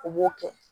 O b'o kɛ